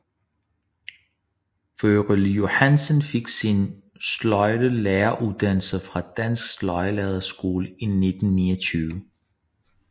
Wørle Johansen fik sin sløjdlæreruddannelse fra Dansk Sløjdlærerskole i 1929